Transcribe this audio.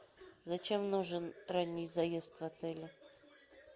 зачем нужен ранний заезд в отеле